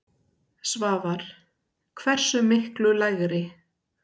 Svavar: Hversu miklu lægri?